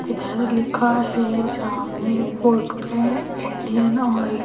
इधर लिखा है सामने बोर्ड पे इंडियन ऑइल --